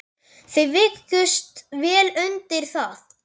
Þau vikust vel undir það.